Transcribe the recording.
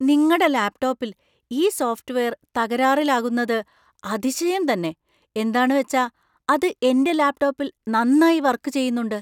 നിങ്ങടെ ലാപ്ടോപ്പിൽ ഈ സോഫ്റ്റ് വെയർ തകരാറിലാകുന്നത് അതിശയം തന്നെ. എന്താണ് വച്ചാ അത് എന്‍റെ ലാപ്ടോപ്പിൽ നന്നായി വർക്ക് ചെയ്യുന്നുണ്ട്.